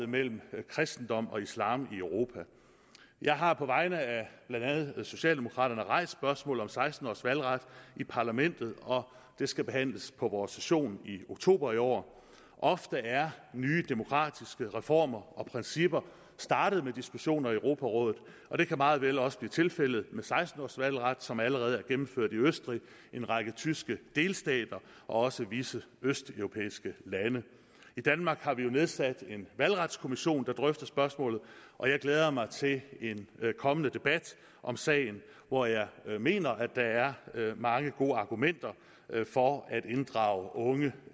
mellem kristendom og islam i europa jeg har på vegne af blandt andet socialdemokraterne rejst spørgsmålet om seksten års valgret i parlamentet og det skal behandles på vores session i oktober i år ofte er nye demokratiske reformer og principper startet med diskussioner i europarådet og det kan meget vel også blive tilfældet med seksten års valgret som allerede er gennemført i østrig en række tyske delstater og også visse østeuropæiske lande i danmark har vi jo nedsat en valgretskommission der drøfter spørgsmålet og jeg glæder mig til en kommende debat om sagen hvor jeg mener at der er mange gode argumenter for at inddrage unge